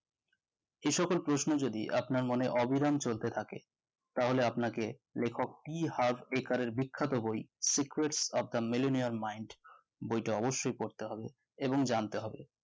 সে সকল প্রশ্ন যদি আপনার মনে অবিরাম চলতে থাকে তাহলে আপনাকে লেখক টি হার্ভ একার এর বিখ্যাত বই secrets of the millionaire mind বইটি অবশ্যই পড়তে হবে এবং জানতে হবে